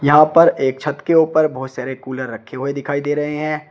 यहां पर एक छत के ऊपर बहुत सारे कूलर रखे हुए दिखाई दे रहे हैं।